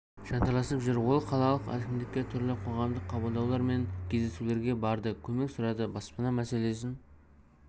жанталасып жүр ол қалалық әкімдікке түрлі қоғамдық қабылдаулар мен кездесулерге барды көмек сұрады баспана мәселесін